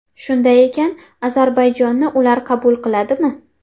Shunday ekan, Ozarbayjonni ular qabul qiladimi?